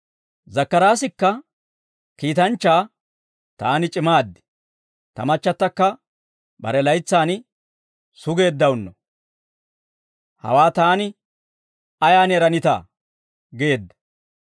Zakkaraasikka kiitanchchaa, «Taani c'imaad, tamachchattakka bare laytsaan sugeeddawunno, hawaa taani ayaan eranitaa?» geedda.